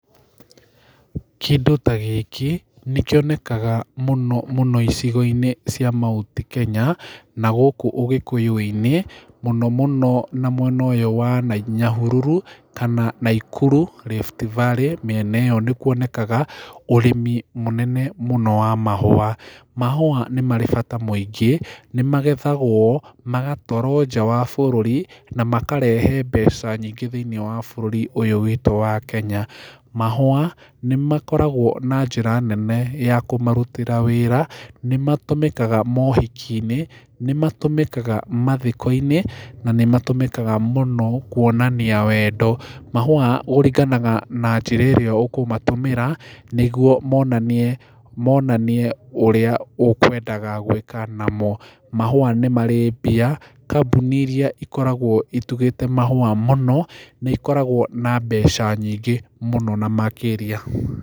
Kĩndũ ta gĩkĩ nĩkĩonekaga mũno mũno icigo-inĩ cia mt Kenya na gũkũ ũgĩkũyũ-inĩ mũno mũno na mwena ũyũ wa nyahururu kana naikuru riftvalley mĩena ĩyo nĩ kũonekaga ũrĩmi mũnene wa mahũa. Mahũa nĩ marĩ bata mũingĩ, nĩmagethagwo magatwarwo njaa wa bũrũri na makarehe mbeca nyingĩ thĩĩnĩe wa bũrũri ũyũ wa witũ Kenya. Mahũa nĩmakoragwo na njĩra nene ya kũmarutĩra wĩra nĩmatũmĩkaga mohiki-inĩ nĩmatũmĩkaga mathiko-inĩ na nĩmatũmĩkaga mũno kũonania wendo. Mahũa kũringanaga na njĩra ĩrĩa ũkũmatũmĩra nĩgũo monanie ũrĩa ũkwendaga gũĩka namo , mahũa nĩ marĩ mbia kambuni iria ikoragwo itugĩte mahũa mũno nĩ ikoragwo na mbeca nyingĩ mũno na makĩria.